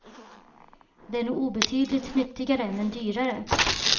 De är nog obetydligt nyttigare, men dyrare.